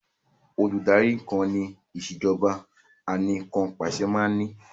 Olùdarí kan ni ìsèjọba anìkanpàṣẹ máa ní